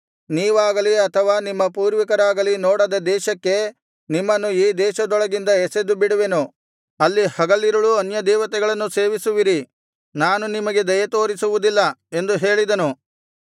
ನೀವಾಗಲಿ ಅಥವಾ ನಿಮ್ಮ ಪೂರ್ವಿಕರಾಗಲಿ ನೋಡದ ದೇಶಕ್ಕೆ ನಿಮ್ಮನ್ನು ಈ ದೇಶದೊಳಗಿಂದ ಎಸೆದುಬಿಡುವೆನು ಅಲ್ಲಿ ಹಗಲಿರುಳೂ ಅನ್ಯದೇವತೆಗಳನ್ನು ಸೇವಿಸುವಿರಿ ನಾನು ನಿಮಗೆ ದಯೆತೋರಿಸುವುದಿಲ್ಲ ಎಂದು ಹೇಳಿದನು